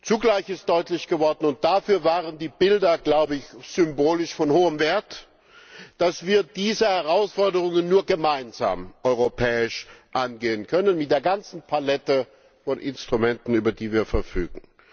Zugleich ist deutlich geworden und dafür waren die Bilder symbolisch von hohem Wert dass wir diese Herausforderungen nur gemeinsam europäisch angehen können mit der ganzen Palette von Instrumenten, über die wir verfügen.